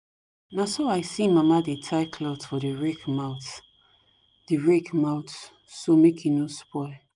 na so i see mama dey tie cloth for the rake mouth the rake mouth so make e no spoil